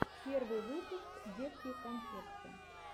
первый выпуск детки конфетки